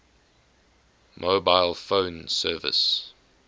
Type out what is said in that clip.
mobile phone service